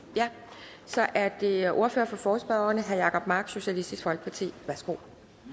så er det ordfører for forespørgerne herre jacob mark socialistisk folkeparti værsgo